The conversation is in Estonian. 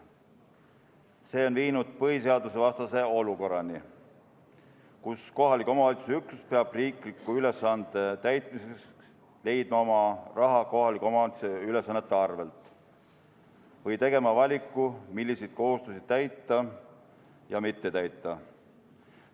See on viinud põhiseadusevastase olukorrani, kus kohaliku omavalitsuse üksus peab riikliku ülesande täitmiseks leidma raha oma ülesannete arvel või tegema valiku, milliseid kohustusi täita ja milliseid mitte täita.